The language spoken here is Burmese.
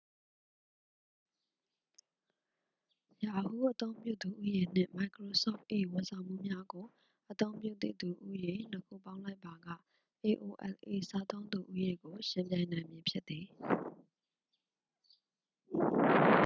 yahoo အသုံးပြုသူ ဦးရေ နှင့် မိုက်ခရိုဆော့ဖ်၏ ဝန်ဆောင်မှုများကို အသုံးပြုသည့်သူ ဦးရေ နှစ်ခုပေါင်းလိုက်ပါက aol၏ စားသုံးသူ ဦးရေကို ယှဉ်ပြိုင်နိုင်မည်ဖြစ်သည်။